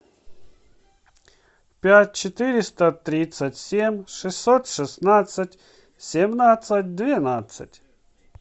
пять четыреста тридцать семь шестьсот шестнадцать семнадцать двенадцать